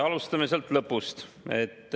Alustame lõpust.